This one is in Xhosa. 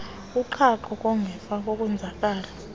koqhaqho ezangemva kokonzakala